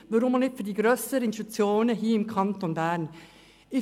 Weshalb wird dies nicht auch für die grösseren Institutionen im Kanton Bern verlangt?